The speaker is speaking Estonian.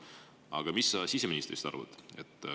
Aga mis sa siseministrist arvad?